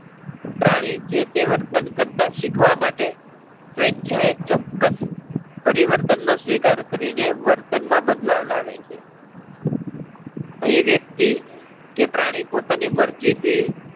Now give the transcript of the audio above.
પ્રાણી જે-તે વર્તન કરતાં શીખવા માટે, સ્વેચ્છાએ ચોક્કસ પરિવર્તન નો સ્વીકાર કરી ને વર્તન માં બદલાવ લાવે છે. અહી વ્યક્તિ કે પ્રાણી પોતાની મરજી થી